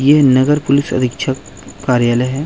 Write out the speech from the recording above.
ये नगर पुलिस अध्य्क्ष कार्यालय है।